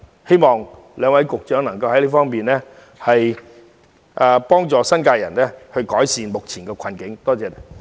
希望兩位局長能在這方面協助新界人改善目前的困境。